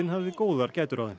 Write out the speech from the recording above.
hafði góðar gætur á þeim